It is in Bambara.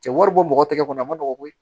Cɛ wari bɔ mɔgɔ tɛgɛ kɔnɔ a ma nɔgɔn koyi